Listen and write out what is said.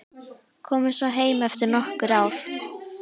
Komið svo heim eftir nokkur ár.